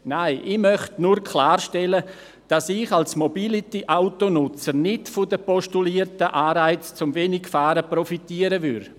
Nein, ich möchte nur klarstellen, dass ich als Mobility-Autonutzer nicht von den postulierten Anreizen des Wenigfahrens profitieren würde.